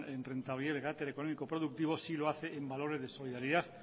en carácter económico productivo sí lo hace en valores de solidaridad